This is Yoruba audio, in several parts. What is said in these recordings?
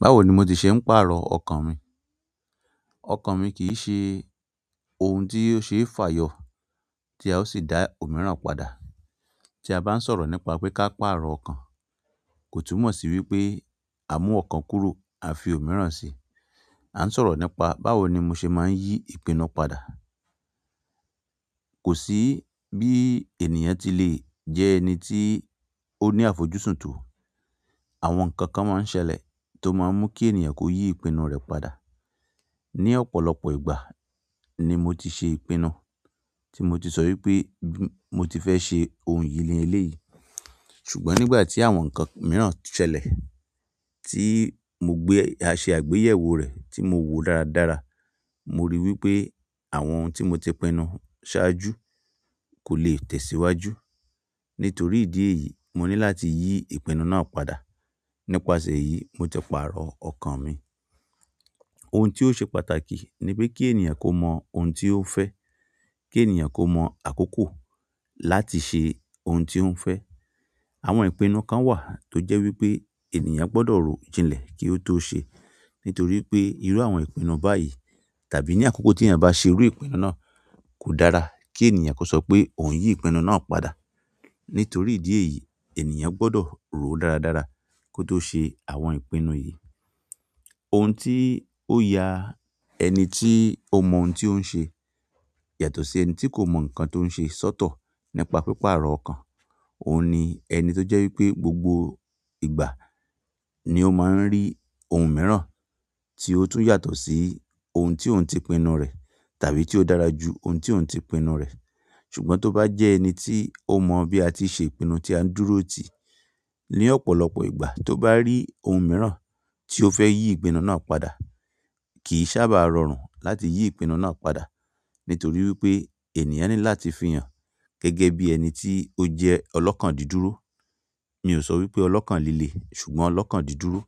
Báwo ni mo de ṣe ń pàrọ̀ ọkàn mi? Ọkàn mi kì ṣe ohun tí ó ṣe fàyọ̀ tí a ó sì dá òmíràn padà. Tí a bá ń sọ̀rọ̀ nípa pé ká pàrọ̀ ọkàn, kò túmọ̀ sí wípé a mú ọkàn kúrò à fi òmíràn si. A ń sọ̀rọ̀ nípa báwo ni mo ṣe máa ń yí ìpinnu padà. Kò sí bí ènìyàn ti lè jẹ́ ẹni tí ó ní àfojúsùn tó. Àwọn nkankan maa n ṣẹlẹ̀, to maa n mu ki ènìyàn ko yi ipinu re padà. Ni ọ̀pọ̀lọpọ̀ ìgbà ni mo ti ṣe ìpinnu tí mo ti sọ wí pé bí mo ti fẹ́ ṣe ohun yìí ni eléyìí. Ṣùgbọ́n nígbà tí àwọn nǹkan mìíràn ṣẹlẹ̀ tí mo gbé a ṣe àgbéyẹ̀wò rẹ̀ tí mo wò dáradára, mo rí wí pé àwọn ohun tí mo ti pinnu ṣáájú kò lè tẹ̀síwájú. Nítorí ìdí èyí, mo ní láti yí ìpinnu náà padà. Nípasẹ̀ èyí, mo ti pàrọ̀ ọkàn mi. Ohun ti o se pàtàkì, nipe ki ènìyàn ko mo oun ti o fe, ki ènìyàn ko mo akoko láti se oun ti o n fe. Àwọn ìpinnu kan wa, to je wípé ènìyàn gbodo ro jinle, ki o to se. Nítorí pé irú àwọn ìpinnu báyìí tàbí ní àkókò tí èeyàn bá ṣe irú ìpinnu náà kò dára kí ènìyàn kó sọ pé òun yí ìpinnu náà padà. Nítorí ìdí èyí, ènìyàn gbọ́dọ̀ rò dáradára kó tó ṣe àwọn ìpinnu yìí. Ohun tí ó ya ẹni tí ó mọ ohun tí ó ń ṣe yàtọ̀ sí ẹni tí kò mọ nǹkan tí ó ń ṣe sọ́tọ̀ nípa píparọ̀ ọkàn, òun ni ẹni tó jẹ́ wípé gbogbo ìgbà ni ó máa ń rí ohun mìíràn tí ó tún yàtọ̀ sí ohun tí òun ti pinnu rẹ̀ tàbí tí ó dára ju ohun tí òun ti pinnu rẹ̀. Ṣùgbọ́n tó bá jẹ́ ẹni tí ó mọ bí a ti ṣe ìpinnu tí a ń dúró ti, ní ọ̀pọ̀lọpọ̀ ìgbà tó bá rí ohun mìíràn tí ó fẹ́ yí ìpinnu náà padà, kì sábà rọrùn láti yí ìpinnu náà padà. Nítorí wípé, ènìyàn ni láti fi han gẹ́gẹ́ bi ẹni ti o je olokan diduro. Mi ò sọ wí pé ọlọ́kàn líle, ṣùgbọ́n ọlọ́kàn dídúró.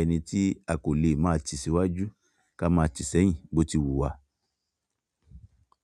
Ẹni tí a kò lè máa ti síwájú ká máa ti sẹ́yìn bó ti wù wà.